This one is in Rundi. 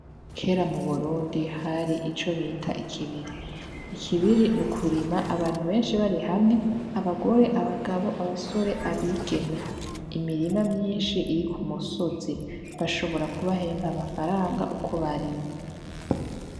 Kera mu Burundi hari ico bita ikibiri. Ikibiri ni ukurima abantu benshi bari hamwe, abagore, abagabo, abasore, abigeme. Imirima myinshi iri ku musozi bashobora kubahemba amafaranga uko barima.